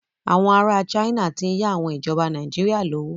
Àwọn ará China ti ń yá àwọn ìjọba Nàìjíríà lówó.